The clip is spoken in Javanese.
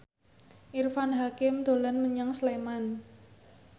Irfan Hakim dolan menyang Sleman